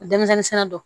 Denmisɛnnin sira dɔn